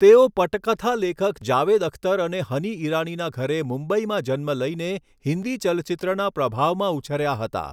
તેઓ પટકથા લેખક જાવેદ અખ્તર અને હની ઈરાનીના ઘરે મુંબઈમાં જન્મ લઈને હિન્દી ચલચિત્રના પ્રભાવમાં ઉછર્યા હતાં.